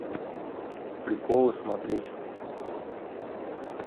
приколы смотреть